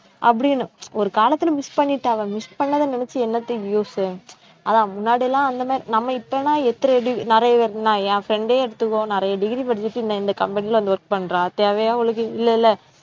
அப்படின்னு ஒரு காலத்துல miss பண்ணிட்டாங்க miss பண்ணதை நினைச்சு என்னத்த use அதான் முன்னாடி எல்லாம் அந்த மாதிரி நம்ம இப்ப எல்லாம் என் friend எ எடுத்துக்கோ நிறைய degree படிச்சுட்டு இந்த இந்த company ல வந்து work பண்றா தேவையா அவளுக்கு இல்லைல்ல